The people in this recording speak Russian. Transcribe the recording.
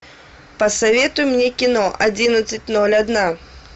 посоветуй мне кино одиннадцать ноль одна